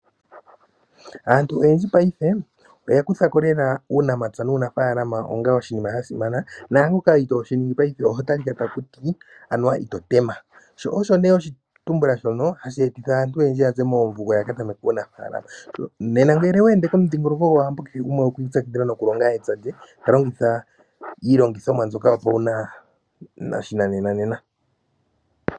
Aantu oyendji paife oya kutha ko uunamapya nuunafaalama onga oshinima sha simana ngaangoka itoo shi ningi paife oho tali ka ko kutya anuwa ito tema. Oshitumbula shoka osho nee hashi etitha aantu ya ze moomvugo ya ka tameke uunafalaama. Nena ngele owe ende komudhingoloko gwAwambo paife kehe gumwe okwa ipyakidhila nokulonga epya lye ta longitha iilongithomwa mbyoka yopashinanena.